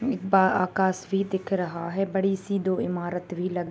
एक बा आकासवी दिख रहा है बड़ी-सी दो इमारत भी लग --